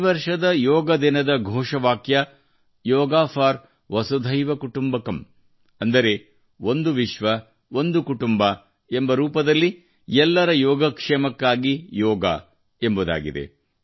ಈ ವರ್ಷದ ಯೋಗ ದಿನದ ಘೋಷವಾಕ್ಯ ಯೋಗ ಫಾರ್ ವಸುಧೈವ ಕುಟುಂಬಕಂ ಅಂದರೆ ಒಂದು ವಿಶ್ವ ಒಂದು ಕುಟುಂಬ ಎಂಬ ರೂಪದಲ್ಲಿ ಎಲ್ಲರ ಯೋಗಕ್ಷೇಮಕ್ಕಾಗಿ ಯೋಗ ಎಂಬುದಾಗಿದೆ